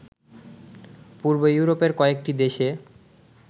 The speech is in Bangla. পূর্ব ইউরোপের কয়েকটি দেশে